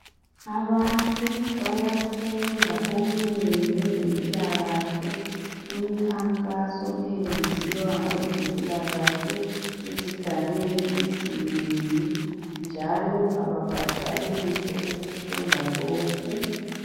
Abantu bayafunda okunengi ngezempilakahle kumikhankaso eyenziwa ngabezempilakahle ezigabeni ezinengi njalo ababhadali lutho ukufunda lokhu.